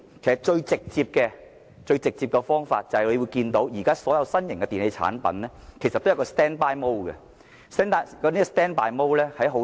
最直接的方法就是教育市民，現時新型電器產品提供的備用模式，其實並不省電。